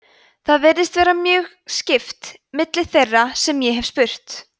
það virðist vera mjög skipt milli þeirra sem ég hef spurt